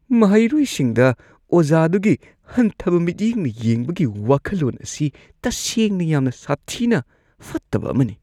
ꯃꯍꯩꯔꯣꯏꯁꯤꯡꯗ ꯑꯣꯖꯥꯗꯨꯒꯤ ꯍꯟꯊꯕ ꯃꯤꯠꯌꯦꯡꯅ ꯌꯦꯡꯕꯒꯤ ꯋꯥꯈꯜꯂꯣꯟ ꯑꯁꯤ ꯇꯁꯦꯡꯅ ꯌꯥꯝꯅ ꯁꯥꯊꯤꯅ ꯐꯠꯇꯕ ꯑꯃꯅꯤ꯫